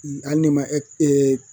Hali n'i ma